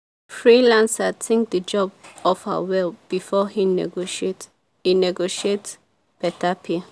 freelancer think the job offer well before e negotiate e negotiate better pay.